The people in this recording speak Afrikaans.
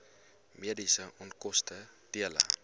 mediese onkoste dele